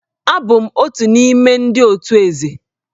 Abụ m otu n'ime ndị otù Eze